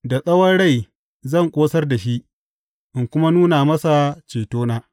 Da tsawon rai zan ƙosar da shi in kuma nuna masa cetona.